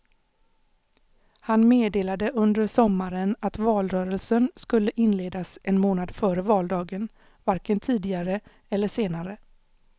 Han meddelade under sommaren att valrörelsen skulle inledas en månad före valdagen, varken tidigare eller senare.